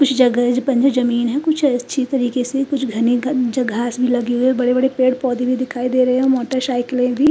कुछ जगह पर जो जमीन है कुछ अच्छी तरीके से कुछ घनी घन घास भी लगी हुई है बड़े बड़े पेड़ पौधे भी दिखाई दे रहे है मोटर साइकीले भी --